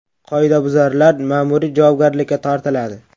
Qoidabuzarlar ma’muriy javobgarlikka tortiladi.